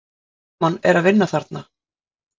Hversu gaman er að vinna þarna?